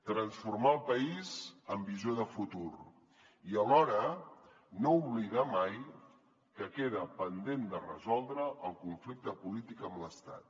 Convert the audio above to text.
transformar el país amb visió de futur i alhora no oblidar mai que queda pendent de resoldre el conflicte polític amb l’estat